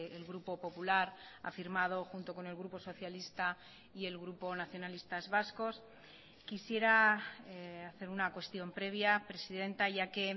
el grupo popular ha firmado junto con el grupo socialista y el grupo nacionalistas vascos quisiera hacer una cuestión previa presidenta ya que